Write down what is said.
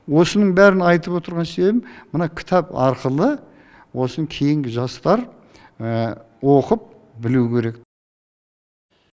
осының бәрін айтып отырған себебім мына кітап арқылы осыны кейінгі жастар оқып білу керек